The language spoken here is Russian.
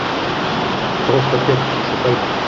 просто пек пошукай